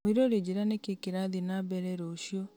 mũirũrĩ njĩra nĩ kĩĩ kĩrathiĩ na mbere rũciũ